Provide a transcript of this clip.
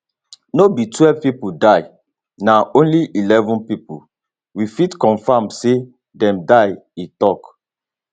no be twelve pipo die na only only eleven pipo we fit confam say dem die e tok